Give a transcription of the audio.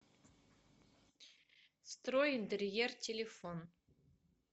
стройинтерьер телефон